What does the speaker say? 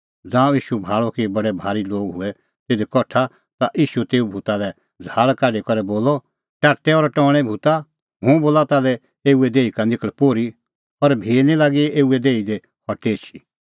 ज़ांऊं ईशू भाल़अ कि बडै भारी लोग हूऐ तिधी कठा ता ईशू तेऊ भूता लै झ़ाहल़ काढी करै बोलअ टाट्टै और टौणैं भूता हुंह बोला ताल्है एऊए देही का निखल़ पोर्ही और भी निं लागी एऊए देही दी हटी एछी